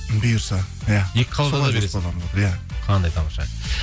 бұйырса иә иә қандай тамаша